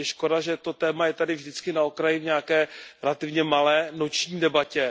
Je škoda, že to téma je tady vždy na okraji, v nějaké relativně malé noční debatě.